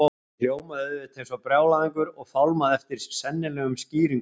Ég hljómaði auðvitað eins og brjálæðingur og fálmaði eftir sennilegum skýringum.